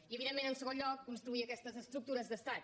i evidentment en segon lloc construir aquestes estructures d’estat